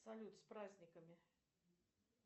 салют с праздниками